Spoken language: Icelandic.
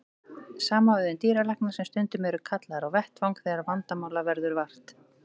Sama á við um dýralækna sem stundum eru kallaðir á vettvang þegar vandamála verður vart.